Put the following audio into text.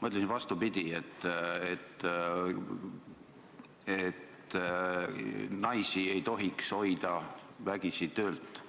Ma ütlesin – vastupidi –, et naisi ei tohiks hoida vägisi töölt